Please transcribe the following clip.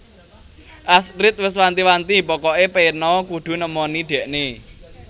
Astrid wes wanti wanti pokok e peno kudu nemoni dhekne